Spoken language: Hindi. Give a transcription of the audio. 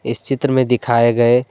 इस चित्र में दिखाए गए।